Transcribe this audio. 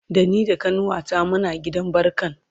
Da ni da kanuwata Muna gidan barkan